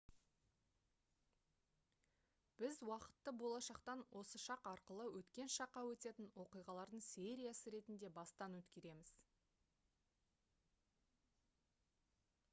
біз уақытты болашақтан осы шақ арқылы өткен шаққа өтетін оқиғалардың сериясы ретінде бастан өткереміз